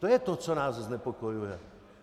To je to, co nás znepokojuje.